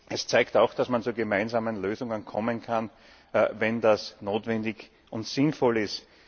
Es zeigt auch, dass man zu gemeinsamen Lösungen kommen kann, wenn es notwendig und sinnvoll ist.